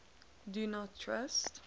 do not trust